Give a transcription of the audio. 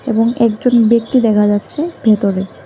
এবং একজন ব্যক্তি দেখা যাচ্ছে ভেতরে।